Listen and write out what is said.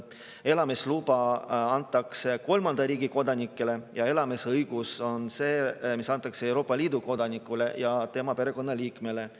Elamisluba antakse kolmanda riigi kodanikele ja elamisõigus on see, mis antakse Euroopa Liidu kodanikule ja tema perekonnaliikmele.